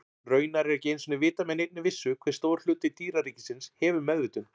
Raunar er ekki einu sinni vitað með neinni vissu hve stór hluti dýraríkisins hefur meðvitund.